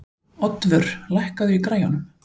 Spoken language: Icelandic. Oddvör, lækkaðu í græjunum.